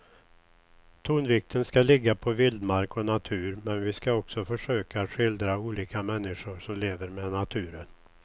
Tonvikten ska ligga på vildmark och natur men vi ska också försöka att skildra olika människor som lever med naturen.